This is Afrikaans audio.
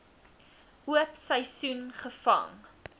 oop seisoen gevang